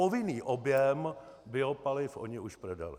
Povinný objem biopaliv oni už prodali.